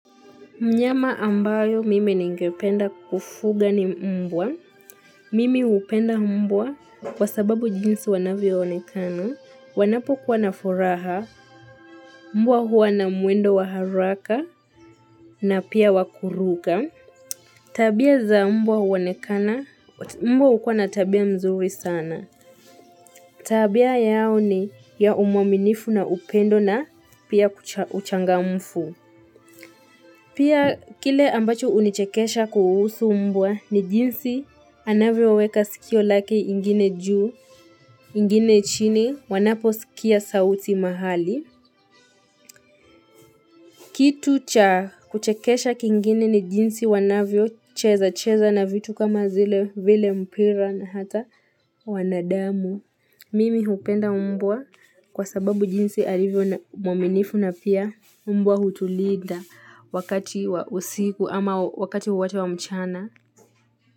Mnyama ambayo mimi ningependa kufuga ni mbwa. Mimi hupenda mbwa kwa sababu jinsi wanavyo onekana. Wanapo kuwa na furaha. Mmbwa huwa na mwendo waharaka na pia wakuruka. Tabia za mbwa huonekana mbwa hukuwa na tabia mzuri sana. Tabia yao ni ya umwaminifu na upendo na pia uchangamfu. Pia kile ambacho unichekesha kuhusu mbwa ni jinsi anavyo weka sikio lake ingine juu, ingine chini, wanapo sikia sauti mahali. Kitu cha kuchekesha kingine ni jinsi wanavyo cheza cheza na vitu kama zile vile mpira na hata wanadamu. Mimi hupenda mbwa kwa sababu jinsi alivyo mwaminifu na pia mbwa hutulinda wakati wa usiku ama wakati wowote wa mchana.